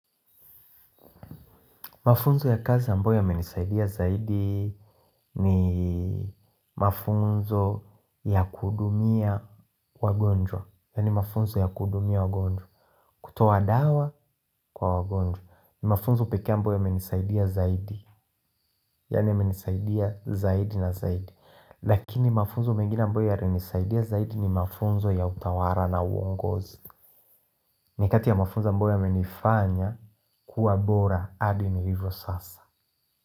Mafunzo ya kazi amboyo yamenisaidia zaidi ni mafunzo ya kuhudumia wagonjwa. Yani mafunzo ya kuhudumia wagonjwa kutoa dawa kwa wagonjwa ni mafunzo pekee ambayo yamenisaidia zaidi. Yani yamenisaidia zaidi na zaidi. Lakini mafunzo mengine ambayo yalinisaidia zaidi ni mafunzo ya utawala na uongozi. Ni kati ya mafunzo ambayo yamenifanya kuwa bora adi nilivyo sasa.